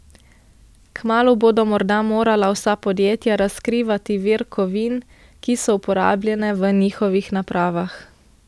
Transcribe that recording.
Kmalu bodo morda morala vsa podjetja razkrivati vir kovin, ki so uporabljene v njihovih napravah.